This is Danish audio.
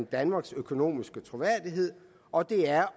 danmarks økonomiske troværdighed og det er